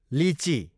लिची